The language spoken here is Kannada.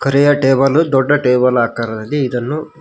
ಬರೆಯುವ ಟೇಬಲ್ ದೊಡ್ಡ ಟೇಬಲ್ ಹಾಕರಲ್ಲಿ ಇದನ್ನು--